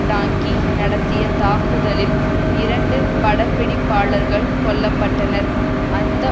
டாங்கி நடத்திய தாக்குதலில் இரண்டு படப்பிடிப்பாளர்கள் கொல்ல பட்டனர் அந்த